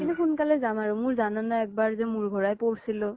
কিন্তু সোনকালে যাম আৰু । মোৰ জানানে এক বাৰ যে মোৰ ঘূৰাই পৰছিলো ?